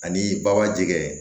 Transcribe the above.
Ani baba jɛgɛ